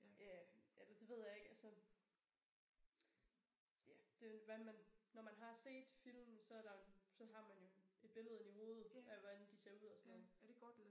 Ja eller det ved jeg ikke altså ja det hvad man når man har set filmen så der så har man jo et billede inde i hovedet af hvordan de ser ud og sådan noget